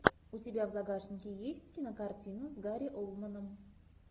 у тебя в загашнике есть кинокартина с гари олдманом